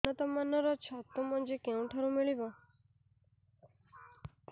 ଉନ୍ନତ ମାନର ଛତୁ ମଞ୍ଜି କେଉଁ ଠାରୁ ମିଳିବ